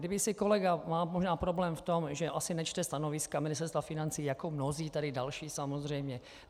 Kdyby si kolega - má možná problém v tom, že asi nečte stanoviska Ministerstva financí, jako mnozí tady další samozřejmě.